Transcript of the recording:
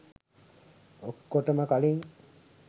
ඔක්කොටම කලින්